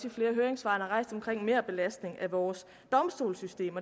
i flere høringssvar omkring merbelastning af vores domstolssystem